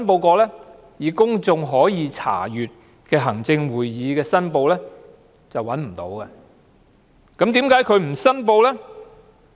在公眾可以查閱的行政會議申報中是找不到的，那麼為何她沒有申報？